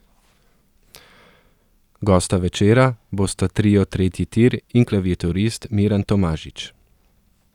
Gosta večera bosta trio Tretji tir in klaviaturist Miran Tomažič.